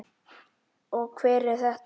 Og hver er þetta?